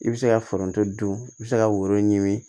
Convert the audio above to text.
I bɛ se ka foronto dun i bɛ se ka woro ɲini